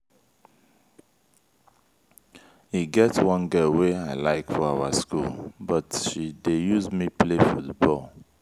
e get one girl wey i like for our school but she dey use me play football.